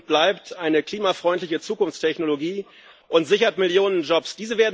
Er ist und bleibt eine klimafreundliche Zukunftstechnologie und sichert Millionen Jobs.